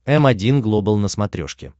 м один глобал на смотрешке